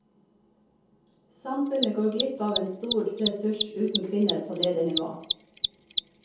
Samfunnet går glipp av en stor ressurs uten kvinner på ledernivå.